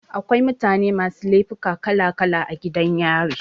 Akwai mutane masu laifuka kala kala a gidan yari.